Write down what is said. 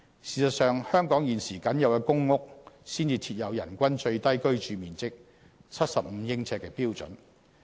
事實上，香港現時僅有公屋才設有人均最低居住面積為75呎的標準。